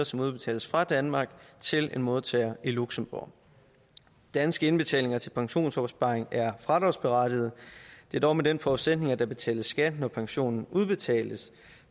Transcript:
som udbetales fra danmark til en modtager i luxembourg danske indbetalinger til pensionsopsparinger er fradragsberettigede det er dog med den forudsætning at der betales skat når pensionen udbetales